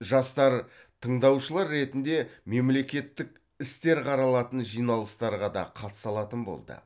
жастар тыңдаушылар ретінде мемлекеттік істер қаралатын жиналыстарға да қатыса алатын болды